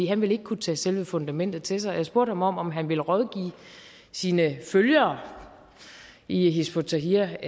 han ville ikke kunne tage selve fundamentet til sig jeg spurgte ham om om han vil rådgive sine følgere i hizb ut tahrir